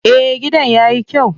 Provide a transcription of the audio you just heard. Eh, gidan yayi kyau.